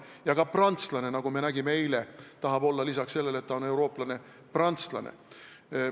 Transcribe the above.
Ja ka prantslane, nagu me eile nägime, tahab peale selle, et ta on eurooplane, olla prantslane.